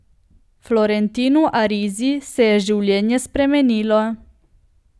Florentinu Arizi se je življenje spremenilo.